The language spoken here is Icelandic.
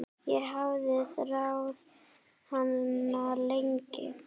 Ég hafði þráð hana lengi.